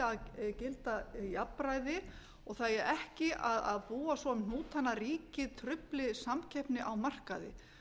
að gilda jafnræði og það eigi ekki að búa svo um hnútana að ríkið trufli samkeppni á markaði